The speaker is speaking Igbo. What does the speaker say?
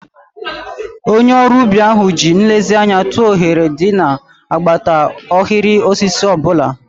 Onye ọrụ ubi ahụ ji nlezianya tụọ oghere dị n'agbata ahịrị osisi ọ bụla.